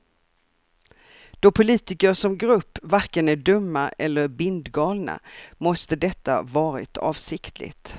Då politiker som grupp varken är dumma eller bindgalna måste detta varit avsiktligt.